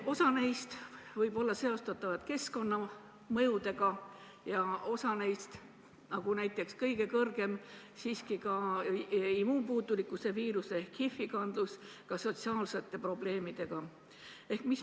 Osa neist võib olla seostatav keskkonnamõjudega ja osa ka sotsiaalsete probleemidega, näiteks kõige suurem immuunpuudulikkuse viiruse ehk HIV kandlus.